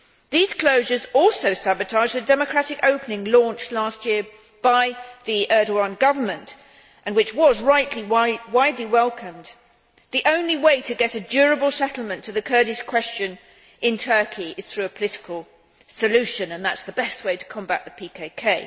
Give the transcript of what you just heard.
These closures also sabotage the democratic opening launched last year by the Erdoğan government, which was, rightly, widely welcomed. The only way to get a durable settlement to the Kurdish question in Turkey is through a political solution, and that is the best way to combat the PKK.